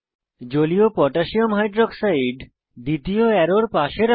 জলীয় potassium hydroxide aqকোহ দ্বিতীয় অ্যারোর কাছে রাখুন